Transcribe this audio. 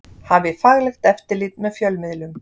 Hafi faglegt eftirlit með fjölmiðlum